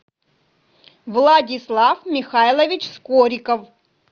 владислав михайлович скориков